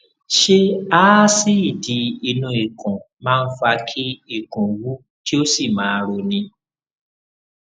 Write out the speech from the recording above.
ṣé aásíìdì inú ikùn máa ń fa kí ikùn wú kí ó sì máa roni